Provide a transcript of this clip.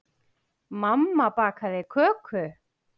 Mamma bakaði köku.